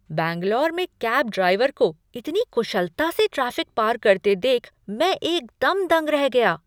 बैंगलोर में cab driver को इतनी कुशलता से ट्रैफिक पार करते देख मैं एकदम दंग रह गया।